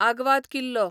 आग्वाद किल्लो